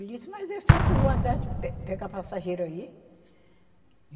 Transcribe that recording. Ele disse, mas eu sempre vou atrás, de pe, pegar passageiro aí.